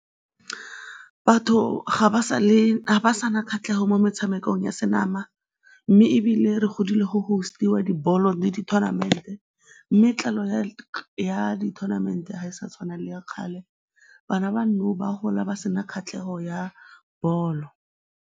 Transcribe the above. Batho ga ba sale, ga ba sa na kgatlhego mo metshamekong ya senama mme ebile re godile go host-iwa dibolo di-tournament-e mme ya dithonamente ga e sa tshwana le ya kgale, bana ba nou ba gola ba se na kgatlhego ya bolo.